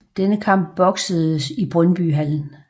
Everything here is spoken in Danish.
Denne kamp boksedes i Brøndby Hallen